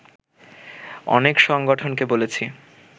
অনেক সংগঠনকে বলেছি